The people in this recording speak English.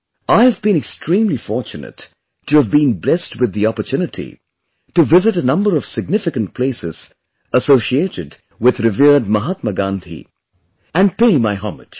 I have been extremely fortunate to have been blessed with the opportunity to visit a number of significant places associated with revered Mahatma Gandhi and pay my homage